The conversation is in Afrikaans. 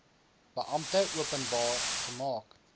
beampte openbaar gemaak